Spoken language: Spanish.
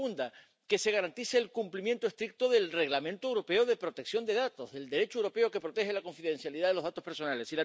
La segunda, que se garantice el cumplimiento estricto del Reglamento europeo de protección de datos, del Derecho europeo que protege la confidencialidad de los datos personales.